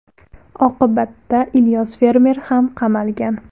Oqibatda Ilyos fermer ham qamalgan.